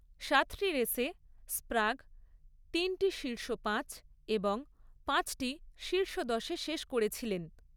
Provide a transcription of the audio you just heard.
সাতটি রেসে, স্প্রাগ তিনটি শীর্ষ পাঁচ এবং পাঁচটি শীর্ষ দশে শেষ করেছিলেন।